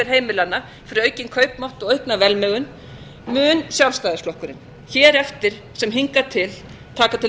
heimilanna fyrir aukinn kaupmátt og aukna velmegun mun sjálfstæðisflokkurinn hér eftir sem hingað til taka til